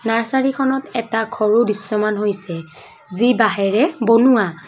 নাৰছাৰীখনত এটা ঘৰো দৃশ্যমান হৈছে যি বাহিৰে বনোৱা।